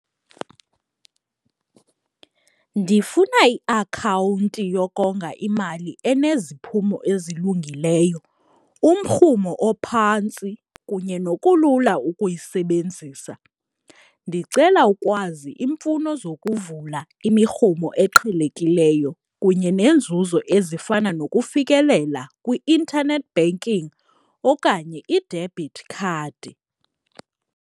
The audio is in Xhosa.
Ndifuna iakhawunti yokonga imali eneziphumo ezilungileyo, umrhumo ophantsi kunye nokulula ukuyisebenzisa. Ndicela ukwazi iimfuno zokuvula imirhumo eqhelekileyo kunye neenzuzo ezifana nokufikelela kwi-internet banking okanye i-debit card.